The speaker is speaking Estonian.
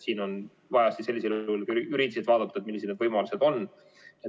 Siin on vaja sellisel juhul juriidiliselt vaadata, millised võimalused on.